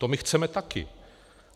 To my chceme taky.